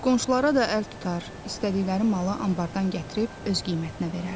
Qonşulara da əl tutar, istədikləri malı anbardan gətirib öz qiymətinə verərdi.